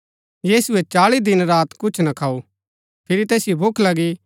यीशुऐ चाळी दिन रात कुछ ना खाऊ फिरी तैसिओ भूख लगी